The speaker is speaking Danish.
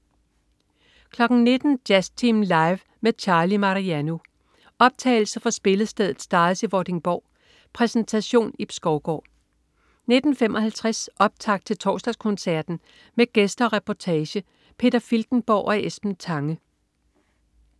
19.00 Jazztimen Live med Charlie Mariano. Optagelse fra spillestedet Stars i Vordingborg. Præsentation: Ib Skovgaard 19.55 Optakt til Torsdagskoncerten. Med gæster og reportage. Peter Filtenborg og Esben Tange